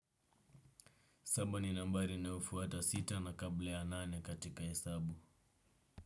Saba ni nambari inayo fuata sita na kabla ya nane katika hesabu.